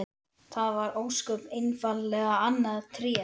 Það var ósköp einfaldlega annað Tré!